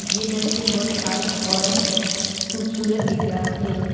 ये दृश्य बहुत शांत और खूबसूरत दिख रहा है।